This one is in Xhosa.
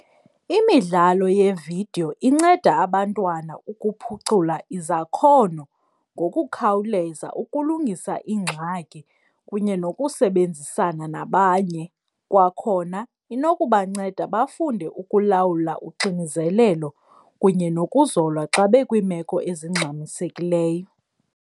Imidlalo yeevidiyo inceda abantwana ukuphucula izakhono ngokukhawuleza, ukulungisa iingxaki kunye nokusebenzisana nabanye. Kwakhona inokubanceda bafunde ukulawula uxinizelelo kunye nokuzola xa bekwiimeko ezingxamisekileyo.